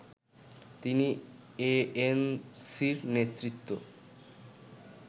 তিনি এএনসির নেতৃত্ব